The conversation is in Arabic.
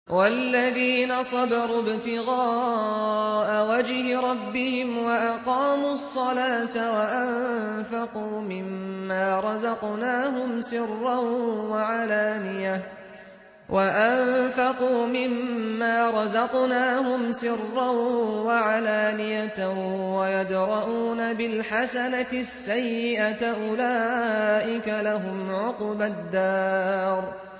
وَالَّذِينَ صَبَرُوا ابْتِغَاءَ وَجْهِ رَبِّهِمْ وَأَقَامُوا الصَّلَاةَ وَأَنفَقُوا مِمَّا رَزَقْنَاهُمْ سِرًّا وَعَلَانِيَةً وَيَدْرَءُونَ بِالْحَسَنَةِ السَّيِّئَةَ أُولَٰئِكَ لَهُمْ عُقْبَى الدَّارِ